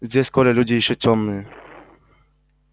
здесь коля люди ещё тёмные